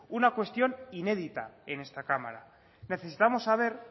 una cuestión inédita en esta cámara necesitamos saber